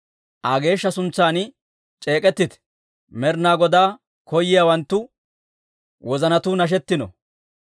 Aa geeshsha suntsan c'eek'ettite; Med'inaa Godaa koyiyaawanttu wozanatuu nashettino.